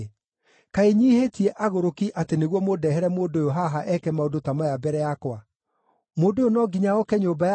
Kaĩ nyiihĩtie agũrũki atĩ nĩguo mũndehere mũndũ ũyũ haha eke maũndũ ta maya mbere yakwa? Mũndũ ũyũ no nginya oke nyũmba yakwa?”